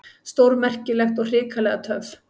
Stórmerkilegt og hrikalega töff.